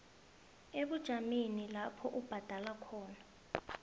ebujameni lapho ubhadelela